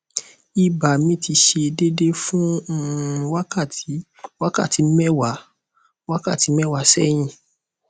iba mi ti se dede fun um wakati wakati mewa wakati mẹ́wàá